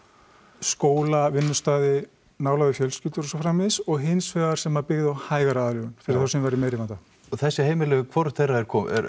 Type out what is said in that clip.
skóla vinnustaði nálægð við fjölskyldur og svo framvegis og hins vegar sem byggði á hægari aðlögun fyrir þá sem væru í meiri vanda og þessi heimili hvorugt þeirra er